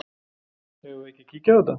Eigum við ekki að kíkja á þetta?